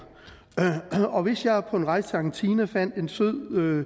og hvis jeg på en rejse til argentina fandt en sød